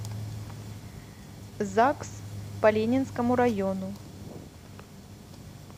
загс по ленинскому району